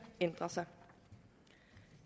ændrer sig